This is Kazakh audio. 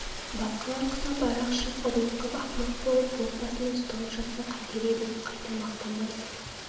басқалар құсап арақ ішіп ұрлық қып ақымақ болып боқ басында ұсталып жатса қайтер едің қайта мақтанбайсың